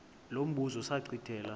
lo mbuzo zachithela